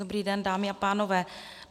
Dobrý den, dámy a pánové.